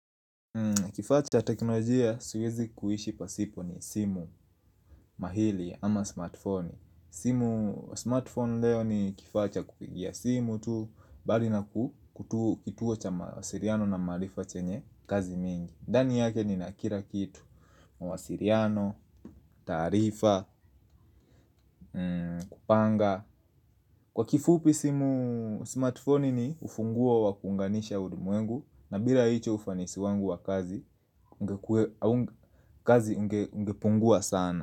Kifaa cha teknolojia siwezi kuishi pasipo ni simu mahili ama smartfoni simu smartphone leo ni kifaa cha kupigia simu tu Bali naku kutu kituo cha mawasiliano na maarifa chenye kazi mingi ndani yake ninakila kitu mawasiliano, taarifa, kupanga Kwa kifupi simu smartfoni ni ufunguo wa kuunganisha ulimwengu na bila hicho ufanisi wangu wa kazi, kazi ungepungua sana.